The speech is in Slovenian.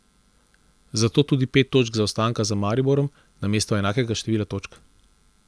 Zato tudi pet točk zaostanka za Mariborom namesto enakega števila točk.